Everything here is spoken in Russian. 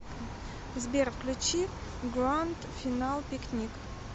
сбер включи гранд финал пикник